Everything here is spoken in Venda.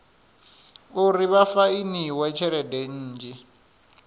uri vha fainiwe tshelede nnzhi